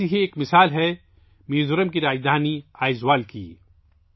ایسی ہی ایک مثال میزورم کی راجدھانی آئیزول ہے